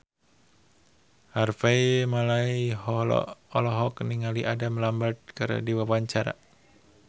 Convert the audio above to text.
Harvey Malaiholo olohok ningali Adam Lambert keur diwawancara